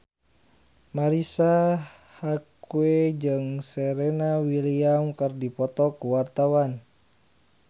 Marisa Haque jeung Serena Williams keur dipoto ku wartawan